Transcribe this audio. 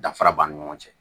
Danfara b'a ni ɲɔgɔn cɛ